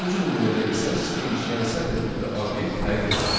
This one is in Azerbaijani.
Üçüncü nümunədə isə string, yəni sətr tipli obyekt təyin etdik.